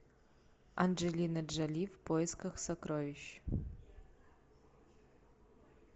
анджелина джоли в поисках сокровищ